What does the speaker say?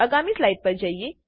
આગામી સ્લાઇડ પર જઈએ